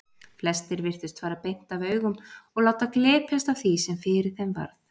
Flestir virtust fara beint af augum og láta glepjast af því sem fyrir þeim varð.